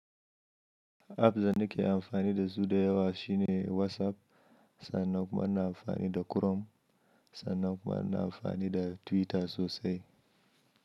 Apps da nake amfani da su da yawa shine WhatsApp, sannan kuma ana amfani da Chrome, sannan kuma ana amfani da Twitter sosai.